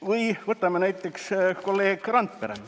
Või võtame näiteks kolleeg Randpere.